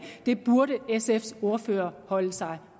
det burde sfs ordfører holde sig